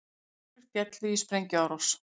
Fjórir féllu í sprengjuárás